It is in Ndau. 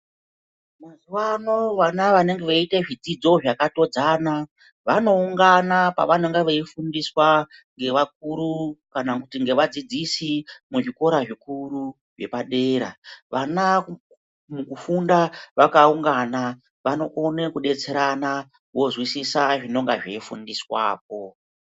Mazuvano vana vanenge veiita zvidzidzo zvakatodzana, vanoungana pavanonga veifundiswa nevakuru kana kuti nevadzidzisi muzvikora zvikuru zvepadera, vana mukufunda vakaungana vanokone kudetserana vozwisisa zvinenge zveifundiswapo.